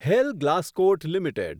hair Glascoat limited